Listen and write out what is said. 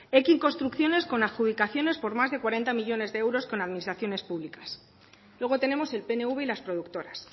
construcciones con adjudicaciones por más de cuarenta millónes de euros con administraciones públicas luego tenemos el pnv y las productoras